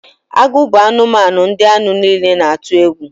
Agụ bụ anụmanụ ndị anụ niile na-atu egwu